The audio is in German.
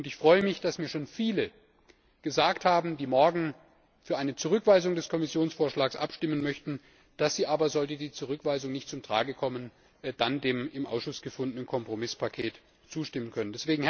Ich freue mich, dass mir schon viele gesagt haben, die morgen für eine Zurückweisung des Kommissionsvorschlags stimmen möchten, dass sie aber, sollte die Zurückweisung nicht zum Tragen kommen, dann dem im Ausschuss gefundenen Kompromisspaket zustimmen können.